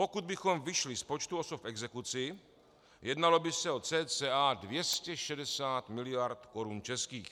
Pokud bychom vyšli z počtu osob v exekuci, jednalo by se o cca 260 mld. korun českých.